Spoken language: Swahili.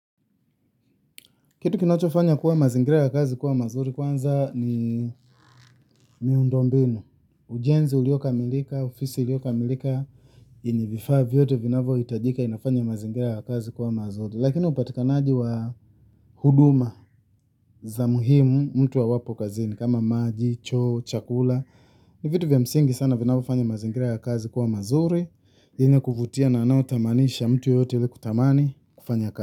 Kitu kinacho fanya kuwa mazingira ya kazi kuwa mazuri kwanza ni miundombinu. Ujenzi uliokamilika, ofisi iliyokamilika, na vifaa vyote vinavyohitajika vinafanya mazingira ya kazi kuwa mazuri. Lakini upatikanaji wa huduma za muhimu mtu wa wapo kazi ni kama maji, choo, chakula. Ni vitu vya msingi sana vinavofanya mazingira ya kazi kuwa mazuri. Ine kufutia na nao tamanisha mtu yote iliku tamani kufanya kazi.